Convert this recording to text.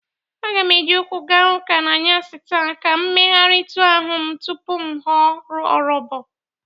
Aga m e ji ụkwụ ga ụka n'anyasị taa ka m megharitụ ahụ m tupu m ghọ ọrọbọ.